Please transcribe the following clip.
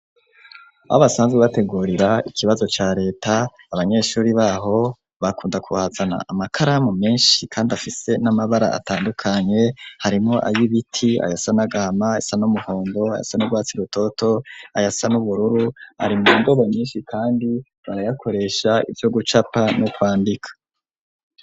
Aho basanzwe bategurira ikibazo ca leta abanyeshuri baho bakunda ku hazana amakaramu meshi kandi afise n'amabara atandukanye harimwo ayibiti ayasa n'agahama ayasa n'umuhondo ayasa n'urwatsi rutoto ayasa n'ubururu ari mu wo ndoba nyishi kandi barayakoresha ivyo gucapa no kwandika.